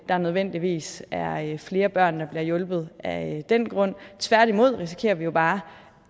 der nødvendigvis er flere børn der bliver hjulpet af den grund tværtimod risikerer vi jo bare